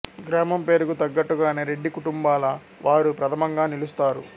గ్రామం పేరుకు తగ్గట్టుగానే రెడ్డి కుటుంబాల వారు ప్రథమంగా నిలుస్తారు